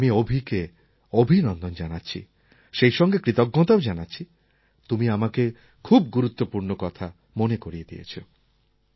আমি অভিকে অভিনন্দন জানাচ্ছি সেইসঙ্গে কৃতজ্ঞতাও জানাচ্ছি তুমি আমাকে খুব গুরুত্বপূর্ণ কথা মনে করিয়ে দিয়েছো